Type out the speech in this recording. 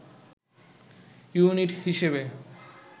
unit হিসেবে